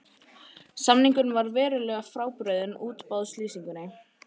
Samningurinn var verulega frábrugðinn útboðslýsingunni